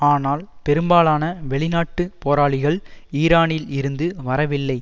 ஆனால் பெரும்பாலான வெளிநாட்டு போராளிகள் ஈரானில் இருந்து வரவில்லை